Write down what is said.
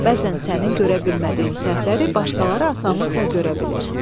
Bəzən sənin görə bilmədiyin səhvləri başqaları asanlıqla görə bilir.